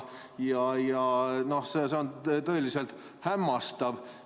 See on tõeliselt hämmastav.